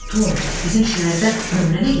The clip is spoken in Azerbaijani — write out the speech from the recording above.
Tom, bizim şəhərdə nömrə nə gəzir?